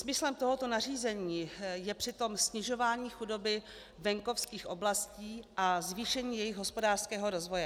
Smyslem tohoto nařízení je přitom snižování chudoby venkovských oblastí a zvýšení jejich hospodářského rozvoje.